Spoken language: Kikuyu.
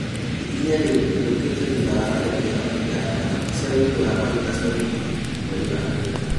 Ikinya rĩu rĩukĩte thutha wa tharĩkĩro igaanda cia wũigi wa maguta Saudia mweri wa kenda